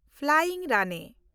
flying Rani